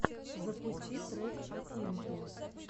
запусти трек афинки